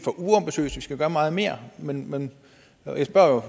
skal gøre meget mere men men jeg spørger